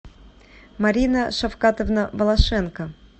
марина шавкатовна волошенко